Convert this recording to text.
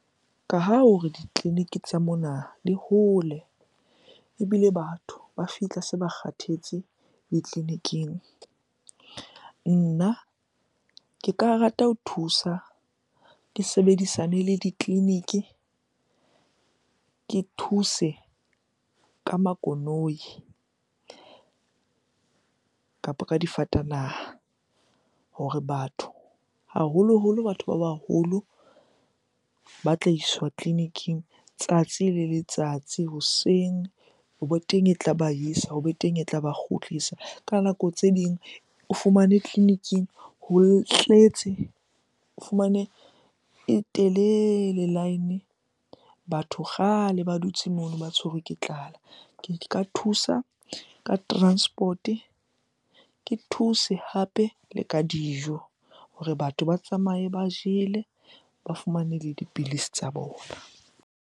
Ka ha hore ditleliniki tsa mona di hole ebile batho ba fihla se ba kgathetse ditleliniking. Nna ke ka rata ho thusa, ke sebedisane le ditleliniki. Ke thuse ka makoloi kapo ka difatanaha hore batho, haholoholo batho ba baholo ba tla iswa tleliniking tsatsi le letsatsi hoseng. Hobe teng e tlaba isa, hobe teng e tlaba kgutlisa. Ka nako tse ding o fumane tleliniking ho tletse. O fumane e telele line, batho kgale ba dutse mono ba tshwerwe ke tlala. Ke ka thusa ka transport-e, ke thuse hape le ka dijo hore batho ba tsamaye ba jele, ba fumane le dipilisi tsa bona.